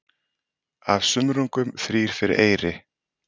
Af sumrungum þrír fyrir eyri.